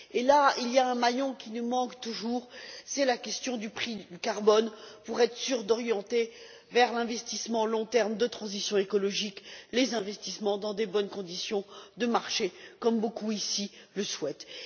Et là, il y a un maillon qui nous manque toujours, c'est la question du prix du carbone, afin d'être sûr d'orienter vers l'investissement à long terme de transition écologique les investissements dans de bonnes conditions de marché, comme beaucoup ici le souhaitent.